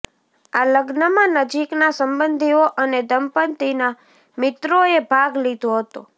આ લગ્નમાં નજીકના સંબંધીઓ અને દંપતીના મિત્રોએ ભાગ લીધો હતો